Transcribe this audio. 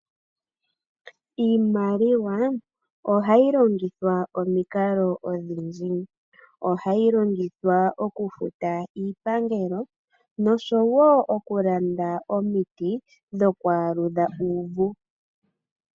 Iimaliwa ohayi longithwa omikala odhindji. Ohayi longithwa oku futa iipangelo, noshowo oku landa omiti dhoku aludha uuvu.